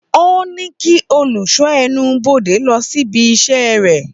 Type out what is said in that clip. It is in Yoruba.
Ó ní kí olùṣọ́ ẹnubodè lọ síbi iṣẹ́ rẹ̀